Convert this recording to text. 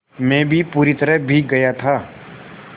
मैं भी पूरी तरह भीग गया था